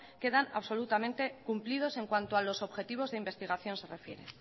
quedan absolutamente cumplidos en cuanto a los objetivos de investigación se refiere